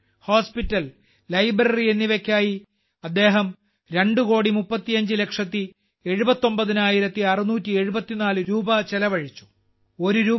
school hospital library എന്നിവയ്ക്കായി അദ്ദേഹം രണ്ടു കോടി മുപ്പത്തിയഞ്ച് ലക്ഷത്തി എഴുപത്തൊമ്പതിനായിരത്തി അറുനൂറ്റി എഴുപത്തിനാല് രൂപ ചെലവഴിച്ചു